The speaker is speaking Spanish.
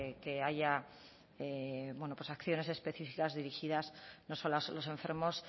que haya acciones específicas dirigidas no solo a los enfermos